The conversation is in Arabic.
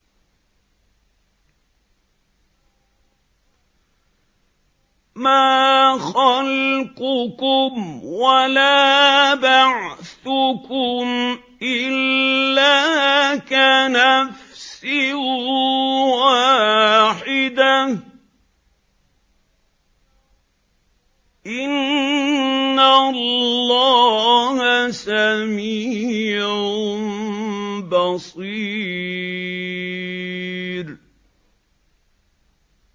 مَّا خَلْقُكُمْ وَلَا بَعْثُكُمْ إِلَّا كَنَفْسٍ وَاحِدَةٍ ۗ إِنَّ اللَّهَ سَمِيعٌ بَصِيرٌ